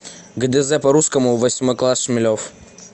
гдз по русскому восьмой класс шмелев